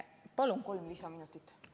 Palun kolm lisaminutit!